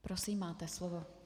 Prosím, máte slovo.